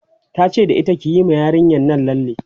tace da ita "kiyi ma yarinyan Nan lalle!